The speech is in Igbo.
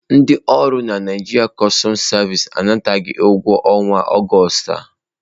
Ndị ọrụ na Naịjirịa customu sevisi anataghị ụgwọ ọnwa Augustu ha.